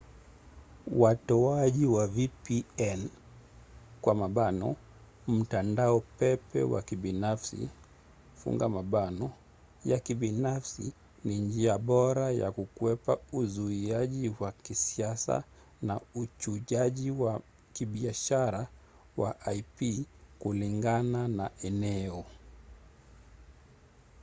watoaji wa vpn mtandao pepe wa kibinafsi ya kibinafsi ni njia bora ya kukwepa uzuiaji wa kisiasa na uchujaji wa kibiashara wa ip kulingana na eneo